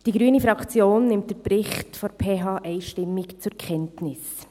Die grüne Fraktion nimmt den Bericht der PH einstimmig zur Kenntnis.